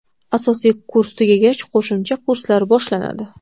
Asosiy kurs tugagach, qo‘shimcha kurslar boshlanadi.